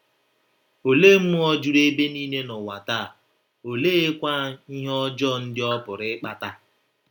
Olee mmụọ juru ebe niile n’ụwa taa, oleekwa ihe ọjọọ ndị ọ pụrụ ịkpata?